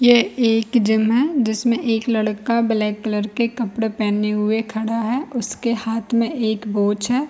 ये एक जिम है जिसमें एक लड़का ब्लैक कलर के कपड़े पहने हुए खड़ा है उसके हाथ में एक वोच है।